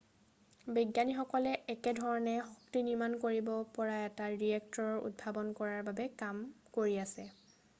বিজ্ঞানীসকলে একে ধৰণে শক্তি নিৰ্মাণ কৰিব পৰা এটা ৰিয়েক্টৰ উদ্ভাৱন কৰাৰ বাবে কাম কৰি আছে